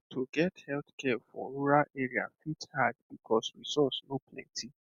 ah to get healthcare for rural area fit hard because resource no plenty